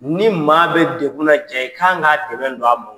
Ni maa bɛ degun na jaa i ka kan ka dɛmɛ don a ma